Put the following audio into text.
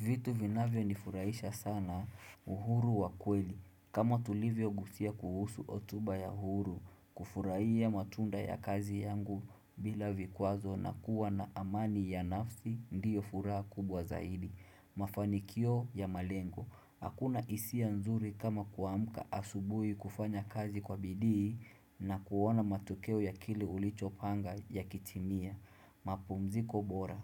Vitu vinavyonifurahisha sana uhuru wa kweli. Kama tulivyogusia kuhusu otuba ya uhuru, kufurahia matunda ya kazi yangu bila vikwazo na kuwa na amani ya nafsi ndiyo furaha kubwa zaidi. Mafanikio ya malengo. Hakuna isia nzuri kama kuamka asubui kufanya kazi kwa bidii na kuona matokeo ya kile ulichopanga yakitimia. Mapumziko bora.